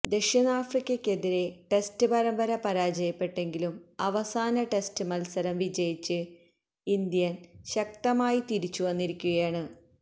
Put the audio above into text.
ദക്ഷിണാഫ്രിക്കയ്ക്കെതിരെ test പരമ്പര പരാജയപ്പെട്ടെങ്കിലും അവസാന ടെസ്റ്റ് മത്സരം വിജയിച്ച് ഇന്ത്യന് ശക്തമായി തിരിച്ചുവന്നിരിക്കുകയാണ്